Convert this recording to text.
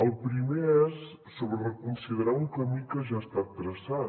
el primer és sobre reconsiderar un camí que ja ha estat traçat